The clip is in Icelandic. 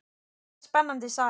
Þetta er spennandi saga.